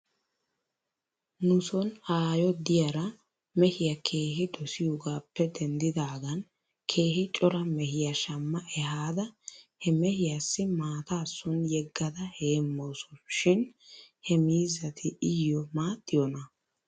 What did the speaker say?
Nuson aayo diyara mehiyaa keehi dosiyogappe denddidaagan keehi cora mehiyaa shamma ehada he mehiyaassi maataa son yeggada heemawso shin he miizzati iyyo maaxxiyoonaa?